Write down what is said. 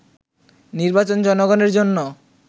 “নির্বাচন জনগণের জন্য